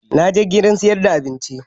Na je gidan sayar da abinci